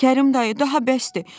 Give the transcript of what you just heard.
Kərim dayı daha bəsdir.